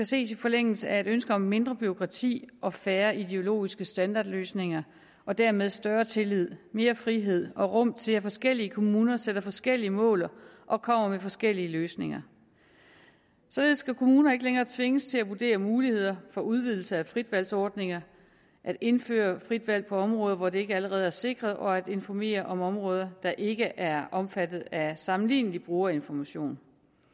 ses i forlængelse af et ønske om mindre bureaukrati og færre ideologiske standardløsninger og dermed større tillid mere frihed og rum til at forskellige kommuner sætter sig forskellige mål og kommer med forskellige løsninger således skal kommunerne ikke længere tvinges til at vurdere muligheder for udvidelse af frit valg ordninger at indføre frit valg på områder hvor det ikke allerede er sikret og at informere om områder der ikke er omfattet af sammenlignelig brugerinformation